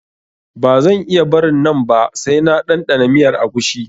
Ba zan iya barin nan ba sai na ɗanɗana miyar agushi